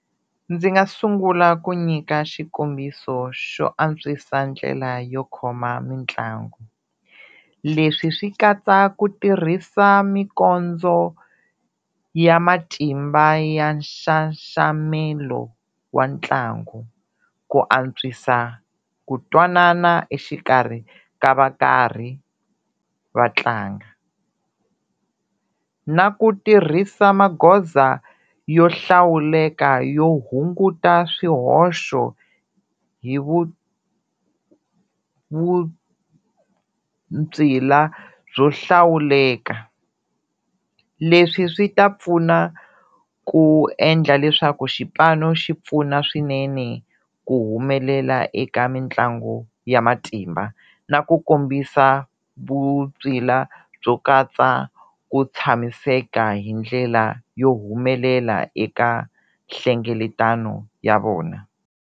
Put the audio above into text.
Ndzi nga sungula ku nyika xikombiso xo antswisa ndlela yo khoma mitlangu, leswi swi katsa ku tirhisa mikondzo ya matimba ya nxaxamelo wa ntlangu, ku antswisa ku twanana exikarhi ka va karhi va tlanga, na ku tirhisa magoza yo hlawuleka yo hunguta swihoxo hi byo hlawuleka, leswi swi ta pfuna ku endla leswaku xipano xi pfuna swinene ku humelela eka mitlangu ya matimba na ku kombisa byo katsa ku tshamiseka hi ndlela yo humelela eka nhlengeletano ya vona.